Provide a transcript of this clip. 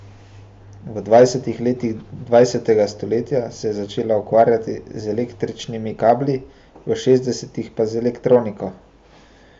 V dvajsetih letih dvajsetega stoletja se je začela ukvarjati z električnimi kabli, v šestdesetih pa z elektroniko.